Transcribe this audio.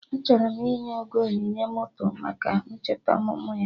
Achọrọ m inye Ogo onyinye moto maka ncheta ọmụmụ ya